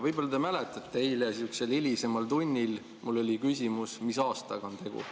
Võib-olla te mäletate, et eile sihukesel hilisemal tunnil mul oli küsimus, mis aastaga on tegu.